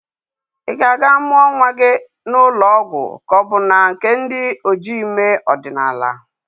Ị ga-aga amụa nnwa gị na ụlọ ọgwọ ka ọ bu na nke ndi ojii ime ọdinaala?